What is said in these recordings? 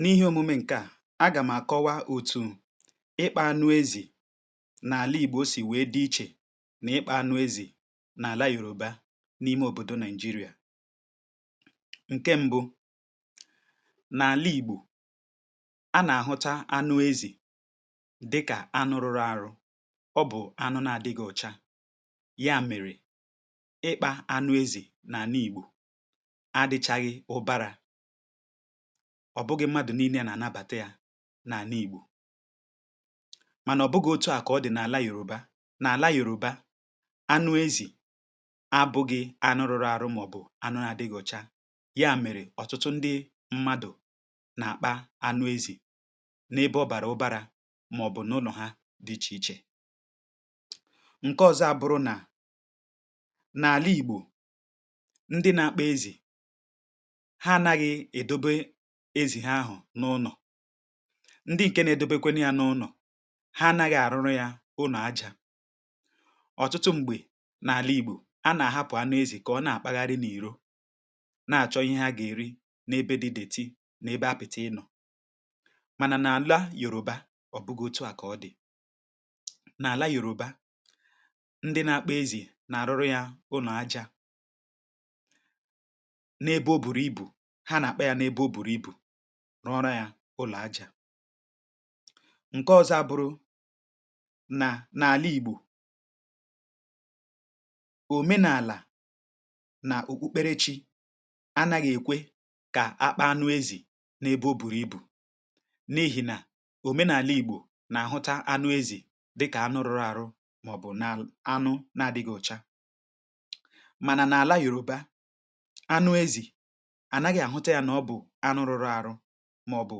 N’ihe omume nke a, a ga m àkọwa otu ịkpà anụ ezì n’àla Igbo si dị iche na ịkpà anụ ezì n’àla Yorùbá, dị n’ime obodo Naịjíríà. Nke mbụ, n’àla Igbo, a na-ahụta anụ ezì dịka anụ rụrụ arụ, maọbụ anụ na-adịghị ọcha. Ya mere, ịkpà anụ ezì n’àla Igbo adịchaghị ùbàrà. Ọ bụghị ọtụtụ mmadụ na-ele ya anya, maọbụ na-anabata ya. Ma, ọ bụghị otu a ka ọ dị n’àla Yorùbá. N’àla Yorùbá, anụ ezì abụghị anụ rụrụ arụ, maọbụ anụ na-adịghị ọcha. Ya mere, ọtụtụ ndị mmadụ na-akpà anụ ezì, n’ebe ọ bara ụbàrà, maọbụ n’ụlọ ha dị iche iche. Nke ọzọ, n’àla Igbo, ndị na-akpọ ezì na-ahụ ha n’ụlọ, ndị nke na-edobekwa ya n’ụlọ ha. Ha anaghị arụrụ ya ụlọ aja. Ọtụtụ mgbe, n’àla Igbo, a na-ahapụ anụ ezì ka ọ na-akpagharị n’ìhè, na-achọ ihe ha ga-eri n’ebe dị detị, n’ebe apịtị inọ. Ma n’àla Yorùbá, ọ bụghị otu a ka ọ dị. N’àla Yorùbá, ndị na-akpọ ezì na-arụrụ ya ụlọ aja. Nke ọzọ bụ na, n’àla Igbo, omenala na okpukpere chi anaghị ekwe ka a kpà anụ ezì n’ebe o bụrị ibu. N’ihi na omenala Igbo na-ahụta anụ ezì dịka anụ rụrụ arụ, maọbụ anụ na-adịghị ọcha. Ma n’àla Yorùbá, anụ ezì bụ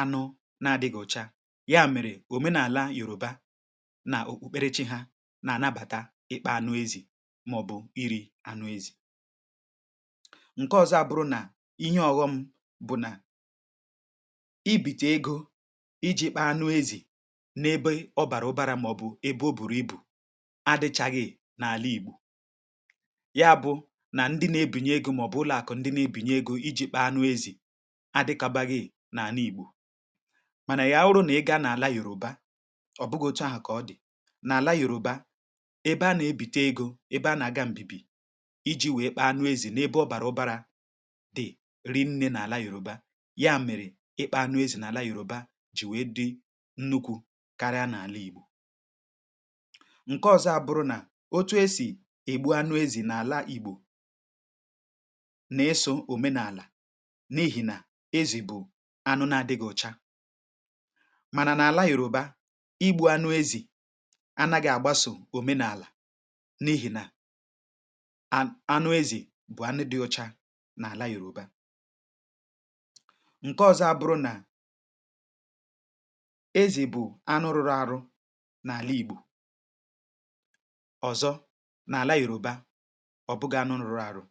anụ na-adi ọcha. Ya mere, omenala Yorùbá na okpukpere chi ha na-anabata ịkpà anụ ezì, maọbụ iri ya. Nke ọzọ bụ na, ihe ọghọm bụ na, ibite ego iji kpà anụ ezì n’ebe ọ bara ụbàrà, maọbụ ebe o bụrị ibu, adịchaghị n’àla Igbo. Ya bụ na, ndị na-ebinye ego, maọbụ ụlọ akụ, ndị na-enye ego iji kpà anụ ezì, adịkaraghị n’àla Igbo. Ma ya were, ị gaa n’àla Yorùbá, ọ bụghị otu a ka ọ dị. N’àla Yorùbá, ebe a na-ebite ego dị, ebe a na-aga mbibi iji wee kpà anụ ezì, n’ebe ọ bara ụbàrà dịrị nne. N’àla Yorùbá, ya mere, ịkpà anụ ezì dị ukwuu karịa n’àla Igbo. Nke ọzọ bụ na, otu esi egbu anụ ezì n’àla Igbo na-eso omenala. A na-ekwu na, anụ ezì abụghị anụ dị ọcha. Ma n’àla Yorùbá, igbù anụ ezì na-agbaso omenala, n’ihi na anụ ezì bụ anụ dị ọcha n’àla Yorùbá. Nke ikpeazụ bụ na, n’àla Igbo, ezì bụ anụ rụrụ arụ. Ma n’àla Yorùbá, ọ bụghị anụ rụrụ arụ.